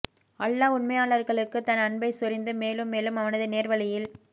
அல்லாஹ் உண்மையாளர்களுக்கு தன் அன்பைச் சொரிந்து மேலும் மேலும் அவனது நேர்வழியில்